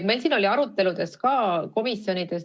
Meil oli arutelu ka komisjonis.